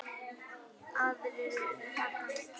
Aðrir eru þarna á milli.